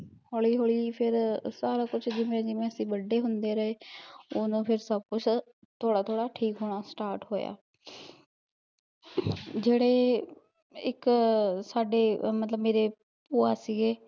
ਹੋਲੀ ਹੋਲੀ ਫਿਰ ਸਾਰਾ ਕੁਛ ਜਿਵੇ ਜਿਵੇ ਅਸੀਂ ਵੱਡੇ ਹੁੰਦੇ ਰਹੇ ਉਦੋਂ ਫਿਰ ਸਬ ਕੁਛ, ਥੋੜਾ ਥੋੜਾ ਠੀਕ ਹੋਣਾ start ਹੋਇਆ ਜਿਹੜੇ, ਇੱਕ ਸਾਡੇ, ਮਤਲਬ ਮੇਰੇ ਭੂਆ ਸੀਗੇ